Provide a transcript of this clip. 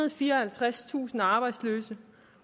og fireoghalvtredstusind arbejdsløse